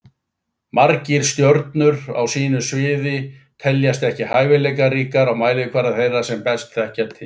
Margir stjörnur á sínu sviði teljast ekki hæfileikaríkar á mælikvarða þeirra sem best þekkja til.